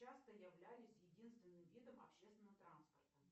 часто являлись единственным видом общественного транспорта